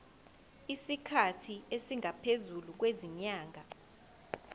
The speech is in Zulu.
isikhathi esingaphezulu kwezinyanga